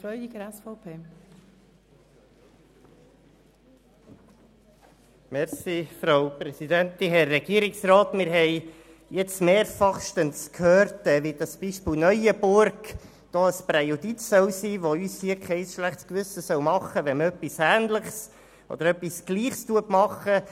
Wir haben jetzt mehrmals gehört, wie das Beispiel Neuenburg ein Präjudiz darstellen solle, welches uns ein schlechtes Gewissen ersparen würde, wenn wir dasselbe täten.